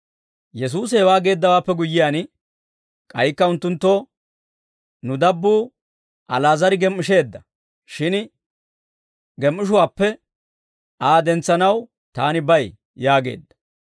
Yesuusi hewaa geeddawaappe guyyiyaan, k'aykka unttunttoo, «Nu dabbuu Ali'aazar gem"isheedda; shin gem"ishuwaappe Aa dentsanaw Taani bay» yaageedda.